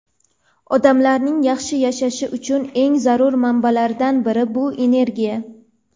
Odamlarning yaxshi yashashi uchun eng zarur manbalardan biri — bu energiya.